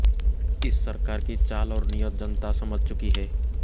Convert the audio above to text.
इस सरकार की चाल और नीयत जनता समझ चुकी है